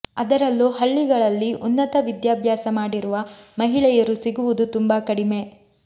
ಅದರಲ್ಲೂ ಹಳ್ಳಿಗಳಲ್ಲಿ ಉನ್ನತ ವಿದ್ಯಾಭ್ಯಾಸ ಮಾಡಿರುವ ಮಹಿಳೆಯರು ಸಿಗುವುದು ತುಂಬಾ ಕಡಿಮೆ